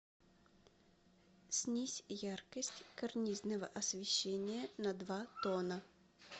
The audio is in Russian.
снизь яркость карнизного освещения на два тона